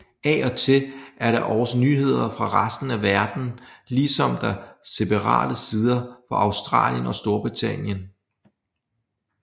Af og til er der også nyheder fra resten af verdenen ligesom der separate sider for Australien og Storbritannien